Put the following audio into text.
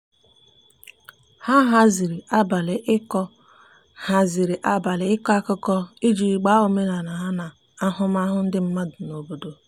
ha haziri abali iko haziri abali iko akụkụ iji gbaa omenala ha na ahụmahụ ndi madụ n'obodo